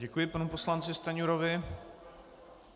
Děkuji panu poslanci Stanjurovi.